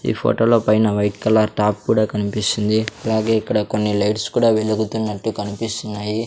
ఈ ఫోటోలో పైన వైట్ కలర్ టాప్ కూడా కనిపిస్తుంది అలాగే ఇక్కడ కొన్ని లైట్స్ కూడా వెలుగుతున్నట్టు కనిపిస్తున్నాయి.